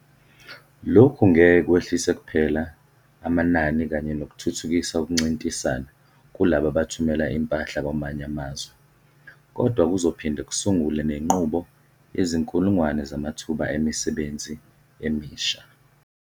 Lokhu ngeke kwehlise kuphela amanani kanye nokuthuthukisa ukuncintisana kulabo abathumela impahla kwamanye amazwe, kodwa kuzophinde kusungule nenqubo yezinkulungwane zamathuba emisebenzi emisha.